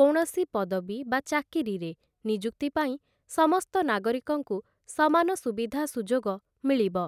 କୌଣସି ପଦବୀ ବା ଚାକିରିରେ ନିଯୁକ୍ତି ପାଇଁ ସମସ୍ତ ନାଗରିକଙ୍କୁ ସମାନ ସୁବିଧା ସୁଯୋଗ ମିଳିବ ।